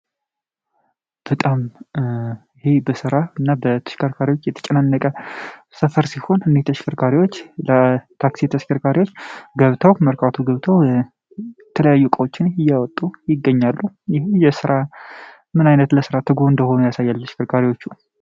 በጣም ይህ በስራ እና በተሽከርካሪዎች የተጨናነቀ ሰፈር ሲሆን እኒህ ተሽከርካሪዎች ለታክሲ ተሽከርካሪዎች ገብተው መርካቶ ገብተው የተለያየ እቃዎችን እያወጡ ይገኛሉ ይህም ስራ ምን ዓይነት ለሥራ ትጉ እንደሆኑ ያሳያል ለተሽክርካሪዎቹ።